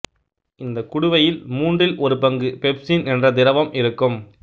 இந்த குடுவையில் மூன்றில் ஒரு பங்கு பெப்சின் என்ற திரவம் இருக்கும்